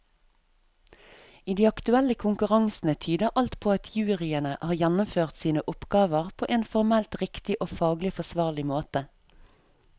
I de aktuelle konkurransene tyder alt på at juryene har gjennomført sine oppgaver på en formelt riktig og faglig forsvarlig måte.